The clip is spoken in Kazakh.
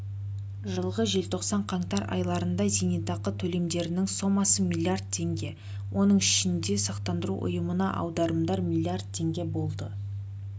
жылғы желтоқсан-қаңтар айларында зейнетақы төлемдерінің сомасы млрд теңге оның ішінде сақтандыру ұйымына аударымдар млрд теңге болды